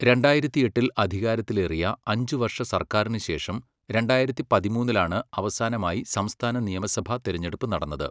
രണ്ടായിരത്തിയെട്ടിൽ അധികാരത്തിലേറിയ അഞ്ചുവർഷ സർക്കാരിന് ശേഷം രണ്ടായിരത്തി പതിമൂന്നിലാണ് അവസാനമായി സംസ്ഥാന നിയമസഭാ തിരഞ്ഞെടുപ്പ് നടന്നത്.